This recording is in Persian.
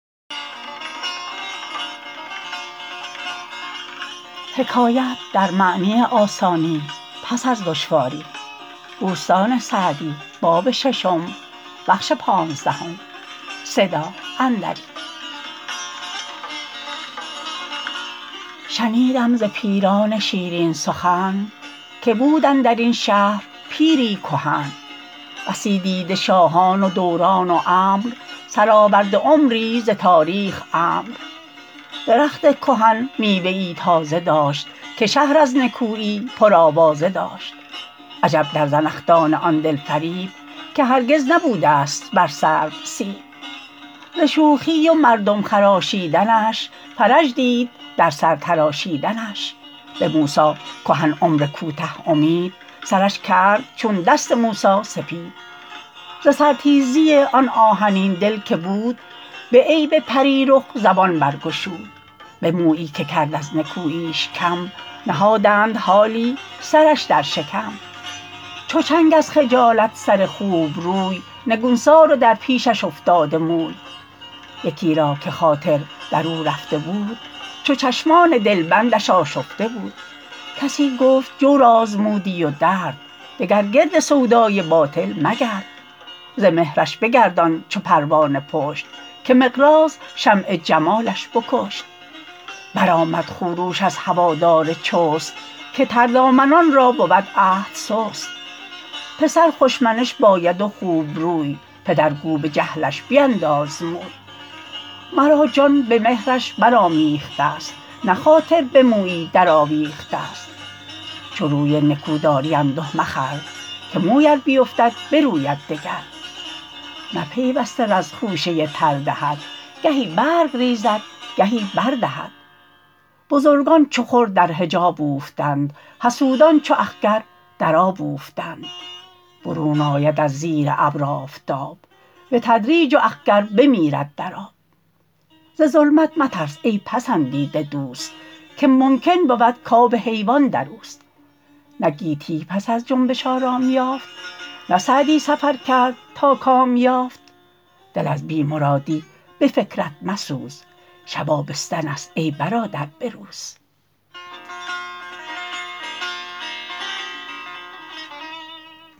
شنیدم ز پیران شیرین سخن که بود اندر این شهر پیری کهن بسی دیده شاهان و دوران و امر سرآورده عمری ز تاریخ عمرو درخت کهن میوه ای تازه داشت که شهر از نکویی پرآوازه داشت عجب در زنخدان آن دل فریب که هرگز نبوده ست بر سرو سیب ز شوخی و مردم خراشیدنش فرج دید در سر تراشیدنش به موسی کهن عمر کوته امید سرش کرد چون دست موسی سپید ز سر تیزی آن آهنین دل که بود به عیب پری رخ زبان برگشود به مویی که کرد از نکوییش کم نهادند حالی سرش در شکم چو چنگ از خجالت سر خوبروی نگونسار و در پیشش افتاده موی یکی را که خاطر در او رفته بود چو چشمان دلبندش آشفته بود کسی گفت جور آزمودی و درد دگر گرد سودای باطل مگرد ز مهرش بگردان چو پروانه پشت که مقراض شمع جمالش بکشت برآمد خروش از هوادار چست که تردامنان را بود عهد سست پسر خوش منش باید و خوبروی پدر گو به جهلش بینداز موی مرا جان به مهرش برآمیخته ست نه خاطر به مویی در آویخته ست چو روی نکو داری انده مخور که موی ار بیفتد بروید دگر نه پیوسته رز خوشه تر دهد گهی برگ ریزد گهی بر دهد بزرگان چو خور در حجاب اوفتند حسودان چو اخگر در آب اوفتند برون آید از زیر ابر آفتاب به تدریج و اخگر بمیرد در آب ز ظلمت مترس ای پسندیده دوست که ممکن بود کاب حیوان در اوست نه گیتی پس از جنبش آرام یافت نه سعدی سفر کرد تا کام یافت دل از بی مرادی به فکرت مسوز شب آبستن است ای برادر به روز